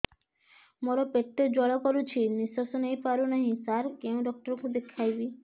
ମୋର ପେଟ ଜ୍ୱାଳା କରୁଛି ନିଶ୍ୱାସ ନେଇ ପାରୁନାହିଁ ସାର କେଉଁ ଡକ୍ଟର କୁ ଦେଖାଇବି